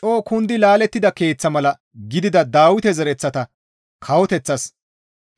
«Coo kundi laalettida keeththa mala gidida Dawite zereththata kawoteththas